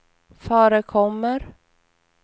förekommer